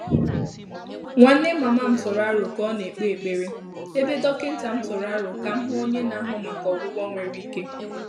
Nwánnè màmá m tụ́rụ̀ àrò kà á nà-ékpé ékpèré, ébé dọ́kị́tà m tụ́rụ̀ àrò kà m hụ́ ọ́nyé nà-àhụ́ màkà ọ́gwụ́gwọ́ nwèrè íké.